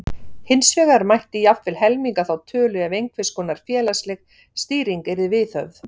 Hins vegar mætti jafnvel helminga þá tölu ef einhverskonar félagsleg stýring yrði viðhöfð.